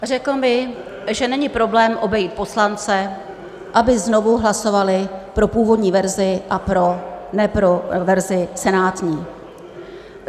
Řekl mi, že není problém obejít poslance, aby znovu hlasovali pro původní verzi, a ne pro verzi senátní.